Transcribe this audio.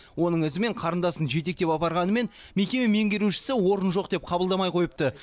оның ізімен қарындасын жетектеп апарғанымен мекеме меңгерушісі орын жоқ деп қабылдамай қойыпты